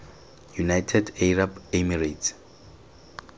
united arab emirates